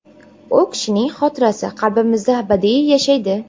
U kishining xotirasi qalbimizda abadiy yashaydi.